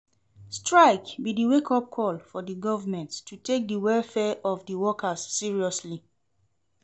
Strike be di wake-up call for di government to take di welfare of di workers seriously.